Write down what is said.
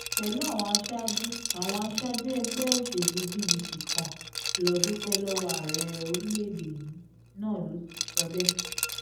pẹ̀lú àwọn aṣáájú àwọn aṣáájú ẹgbẹ́ òṣèlú pdp kan lọ́ọ́ dúpẹ́ lọ́wọ́ ààrẹ orílẹ̀-èdè yìí náà ló sọ bẹ́ẹ̀